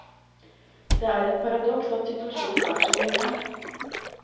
Det er et paradoks at situasjonen er som den er.